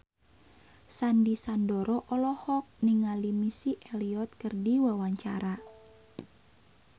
Sandy Sandoro olohok ningali Missy Elliott keur diwawancara